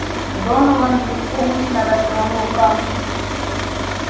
донован беспомощно развёл руками